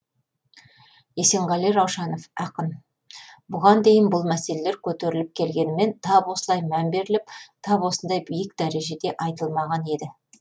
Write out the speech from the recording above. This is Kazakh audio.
есенғали раушанов ақын бұған дейін бұл мәселелер көтеріліп келгенімен тап осылай мән беріліп тап осындай биік дәрежеде айтылмаған еді